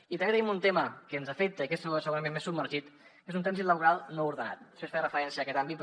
i també tenim un tema que ens afecta i que és segurament més submergit que és un trànsit laboral no ordenat després faré referència a aquest àmbit però